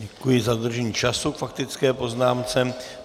Děkuji za dodržení času k faktické poznámce.